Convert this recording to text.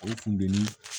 O kunbɛli